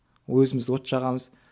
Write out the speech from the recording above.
өзіміз от жағамыз